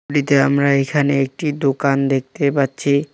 আমরা এখানে একটি দোকান দেখতে পাচ্ছি।